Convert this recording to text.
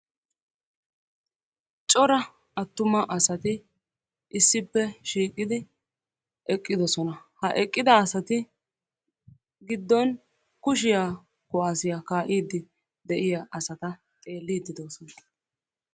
Cora attuma asati issippe shiiqidi eqidosona. Ha eqqida asati giddon kushiya kuwaassiya kaa'iiddi de"iya asata xeelliiddi de'oosona.